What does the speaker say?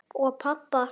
Og pabba.